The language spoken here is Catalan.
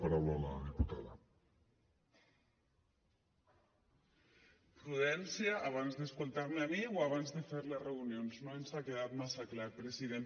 prudència abans d’escoltar me a mi o abans de fer les reunions no ens ha quedat massa clar president